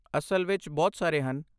ਅਸਲ ਵਿੱਚ, ਬਹੁਤ ਸਾਰੇ ਹਨ।